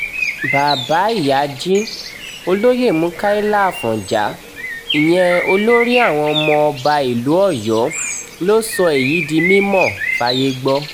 bàbá ìyájí olóyè mukaila afọ̀njá ìyẹn olórí àwọn ọmọ ọba ìlú ọ̀yọ́ ló sọ èyí di mímọ̀ fáyé gbọ́